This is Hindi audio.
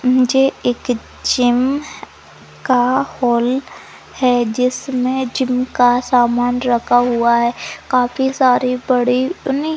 नीचे एकित जिम का हॉल है जिसमे जिम का सामान रखा हुआ है काफी सारी पड़ी--